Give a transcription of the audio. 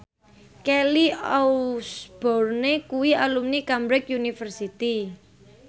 Kelly Osbourne kuwi alumni Cambridge University